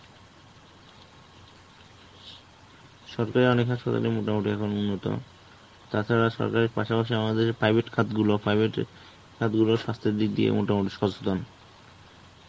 সরকারি অনেক হাসপাতালে মোটামোটি এখন উন্নত. তাছাড়া সরকারের পাশাপাশি আমাদের private খাতগুলো private এ খাতগুলো স্বাস্থ্যের দিক দিয়ে মোটামুটি সচেতন.